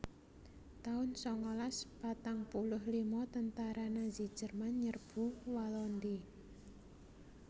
taun sangalas patang puluh lima Tentara Nazi Jerman nyerbu Walandi